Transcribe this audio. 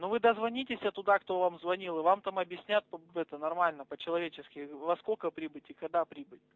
ну вы дозвонитесь туда кто вам звонил и вам там объяснят нормально по-человечески во сколько прибыть и когда прибыть